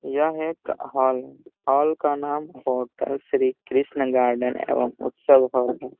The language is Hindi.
यह एक हॉल है। हॉल का नाम होटल श्री कृष्ण गार्डन एवं उत्सव भवन है।